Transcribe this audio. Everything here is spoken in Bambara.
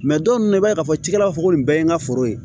dɔw bɛ i b'a ye k'a fɔ cikɛlaw b'a fɔ ko nin bɛɛ ye n ka foro ye